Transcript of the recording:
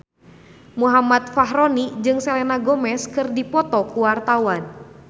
Muhammad Fachroni jeung Selena Gomez keur dipoto ku wartawan